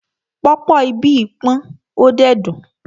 Pọ̀pọ́ ibí pọ́n ó dẹ̀ dùn.